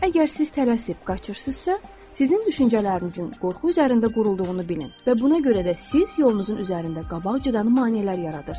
Əgər siz tələsib qaçırsınızsa, sizin düşüncələrinizin qorxu üzərində qurulduğunu bilin və buna görə də siz yolunuzun üzərində qabaqcadan maneələr yaradırsınız.